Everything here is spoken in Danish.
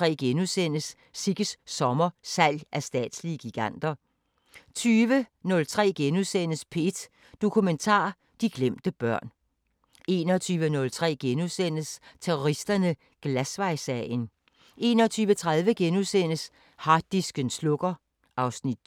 13:05: Det, vi taler om 14:05: Det, vi taler om, fortsat 16:05: Er Du Sunshine? 17:05: Er Du Sunshine? 18:05: Det Næste Kapitel 19:05: Det Næste Kapitel, fortsat 23:05: Globus